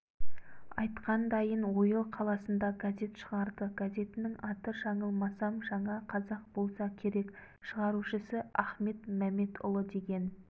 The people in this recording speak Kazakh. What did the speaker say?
айтқандайын ойыл қаласында газет шығарды газетінің аты жаңылмасам жаңа қазақ болса керек шығарушысы ахмет мәметұлы деген